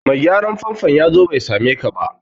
Mai gyaran famfon ya zo bai same ka ba